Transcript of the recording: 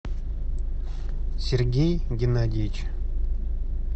сергей геннадьевич